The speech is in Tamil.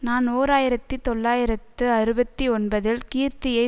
நான் ஓர் ஆயிரத்தி தொள்ளாயிரத்து அறுபத்தி ஒன்பதில் கீர்த்தியை